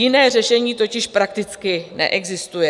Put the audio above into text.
Jiné řešení totiž prakticky neexistuje.